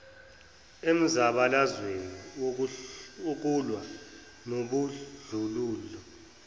emzabalazweni wokulwa nobandlululo